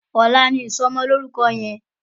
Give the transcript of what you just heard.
Òlà ni isòmòlórúkò yèn